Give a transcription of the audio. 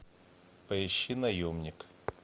поищи наемник